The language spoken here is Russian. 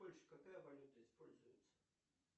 в польше какая валюта используется